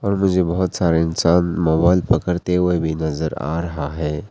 मुझे बहोत सारे इंसान मोबाइल पकड़ते हुए भी नजर आ रहा है।